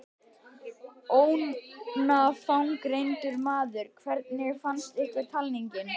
Ónafngreindur maður: Hvernig fannst ykkur talningin?